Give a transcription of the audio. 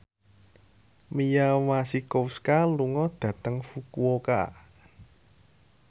Mia Masikowska lunga dhateng Fukuoka